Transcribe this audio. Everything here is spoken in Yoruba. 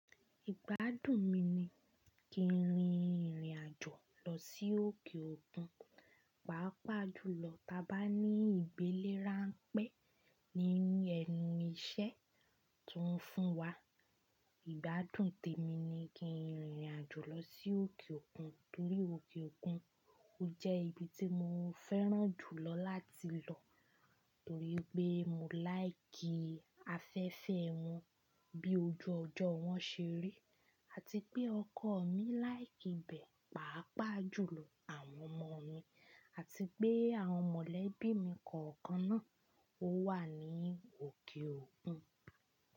Ìgbádùn mi ni kí n rìn ìrìn àjò lọ sí òkè òkun, pàápàá jùlọ ta bá ní ìgbélé ránpẹ́ nínú ẹnu iṣẹ́ tó ń fún wa. Ìgbádùn tèmi ni kí n rìn ìrìn àjò lọ sí òkè òkun torí òkè òkun jẹ́ ibi tí mo fẹ́ràn jùlọ láti lọ torí pé mo láìkì afẹ́fẹ́ wọn bí ojú ọjọ́ wọn ṣe rí àti pé ọkọ mi láìkì bẹ̀, pàápàá jùlọ àwọn ọmọ mi àti pé àwọn mọ̀lẹ́bí mi kọ̀ọ̀kan náà wà ní òkè òkun.